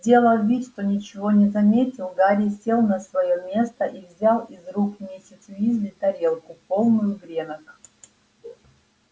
сделав вид что ничего не заметил гарри сел на своё место и взял из рук миссис уизли тарелку полную гренок